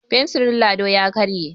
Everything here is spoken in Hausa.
fensirin Lado ya karye